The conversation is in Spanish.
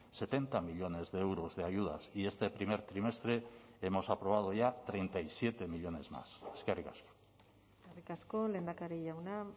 setenta millónes de euros de ayudas y este primer trimestre hemos aprobado ya treinta y siete millónes más eskerrik asko eskerrik asko lehendakari jauna